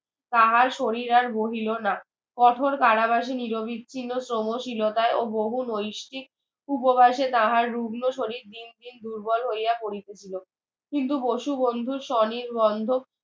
তাহার শরীর আর বহিলো না কঠোর কারাবাসে নিরবিচ্ছিন্ন শ্রমশীলতায় ও বহু ময়িশ্চিক পূর্ববাসে তাহার রুগ্ন শরীর দিন দিন দুর্বল হইয়া পড়িতেছিল কিন্তু বসুবন্ধুর স্বনির্বান্ধব